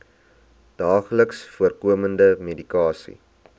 daagliks voorkomende medikasie